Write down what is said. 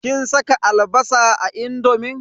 Kin saka albasa a indomin?